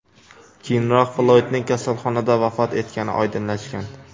Keyinroq Floydning kasalxonada vafot etgani oydinlashgan.